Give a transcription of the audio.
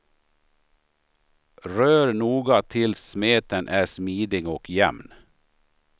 Rör noga tills smeten är smidig och jämn.